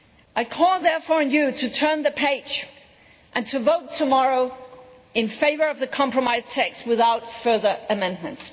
I call therefore on Members to turn the page and to vote tomorrow in favour of the compromise text without further amendments.